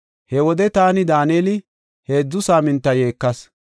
He wode taani, Daaneli, heedzu saaminta yeekas.